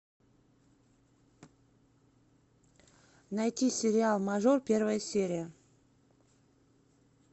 найти сериал мажор первая серия